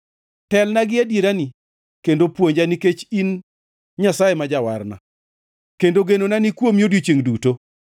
telna gi adierani, kendo puonja, nikech in Nyasaye ma Jawarna, kendo genona ni kuomi odiechiengʼ duto.